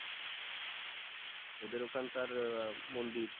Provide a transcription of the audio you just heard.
ওদের ওখানকার আহ মন্দির